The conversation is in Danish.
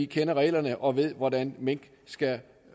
kender reglerne og ved hvordan mink skal